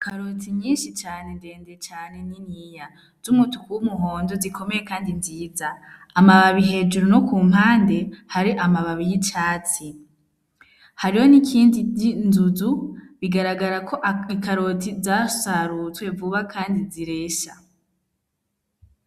Ikaroti nyinshi cane ;ndende cane; niniya z'umutuku w'umuhondo zikomeye kandi nziza, amababi hejuru no ku mpande hari amababi y'icatsi ,hariho nikindi ry'inzuzu bigaragara ko ikaroti zasarutswe vuba kandi ziresha.